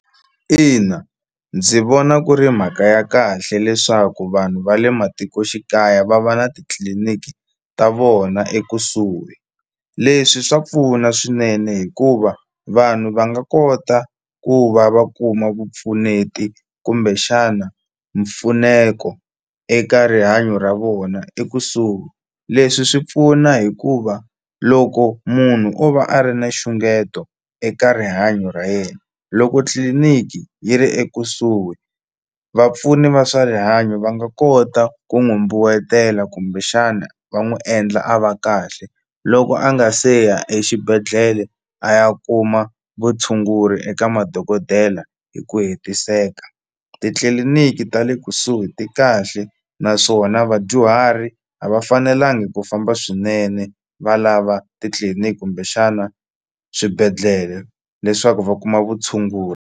Ina ndzi vona ku ri mhaka ya kahle leswaku vanhu va le matikoxikaya va va na titliliniki ta vona ekusuhi leswi swa pfuna swinene hikuva vanhu va nga kota ku va va kuma vupfuneti kumbexana mpfuneko eka rihanyo ra vona ekusuhi leswi swi pfuna hikuva loko munhu o va a ri na nxungeto eka rihanyo ra yena loko tliliniki yi ri ekusuhi vapfuni va swa rihanyo va nga kota ku n'wi mbuwetela kumbexana va n'wi endla a va kahle loko a nga se ya exibedhlele a ya kuma vutshunguri eka madokodela hi ku hetiseka titliliniki ta le kusuhi ti kahle naswona vadyuhari a va fanelanga ku famba swinene va lava titliliniki kumbexana swibedhlele leswaku va kuma vutshunguri.